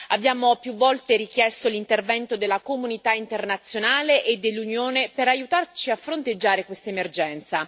Abbiamo più volte richiesto l'intervento della comunità internazionale e dell'Unione per aiutarci a fronteggiare questa emergenza.